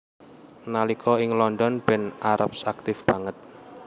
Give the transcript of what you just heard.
Nalika ing London Ben Arps aktif banget